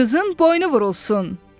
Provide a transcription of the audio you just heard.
Qızın boynu vurulsun.